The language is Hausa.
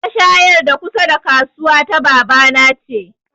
Mashayar da kusa da kasuwa ta baba na ce